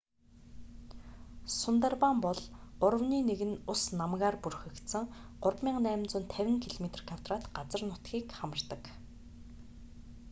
сундарбан бол гуравны нэг нь ус/намгаар бүрхэгдсэн 3,850 km² газар нутгийг хамардаг